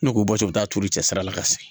Ne k'u bɔ u bɛ taa turu cɛsiri la ka se